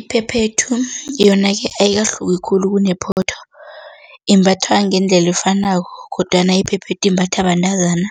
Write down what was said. Iphephethu yona-ke ayikahluki khulu kunephotho, imbathwa ngendlela efanako kodwana iphephethu imbathwa bentazana